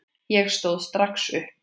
Ég stóð strax upp.